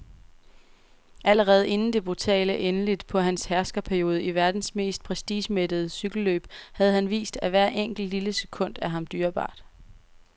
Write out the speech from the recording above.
Allerede inden det brutale endeligt på hans herskerperiode i verdens mest prestigemættede cykelløb havde han vist, at hvert enkelt, lille sekund er ham dyrebart.